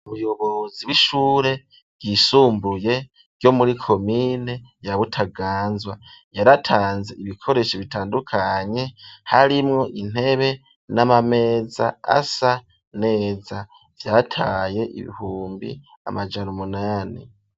Umuyobozi, w'ishure ryisumbuye, ryo muri komine ya Butaganzwa, yaratanze ibikoresho bitandukanye, harimwo intebe n'amameza asa neza, vyatwaye ibihumbi amajana umunani.